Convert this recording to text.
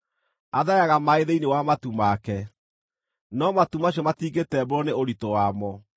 Athayaga maaĩ thĩinĩ wa matu make, no matu macio matingĩtembũrwo nĩ ũritũ wamo.